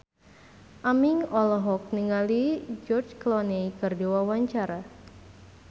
Aming olohok ningali George Clooney keur diwawancara